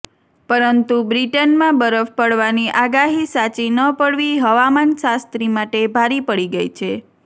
પરંતુ બ્રિટનમાં બરફ પડવાની આગાહી સાચી ન પડવી હવામાનશાસ્ત્રી માટે ભારે પડી ગઈ છે